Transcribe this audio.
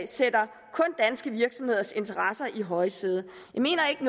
sætter danske virksomheders interesser i højsædet jeg mener ikke